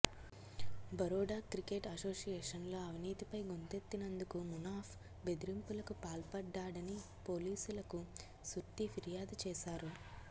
Baroda cricket అసోషియేషన్లో అవినీతిపై గొంతెత్తినందుకు మునాఫ్ బెదరింపులకు పాల్పడ్డాడని పోలీసులకు సుర్తి ఫిర్యాదు చేశారు